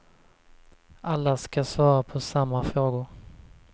Alla ska svara på samma frågor.